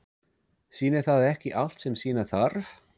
Sýnir það ekki allt sem sýna þarf?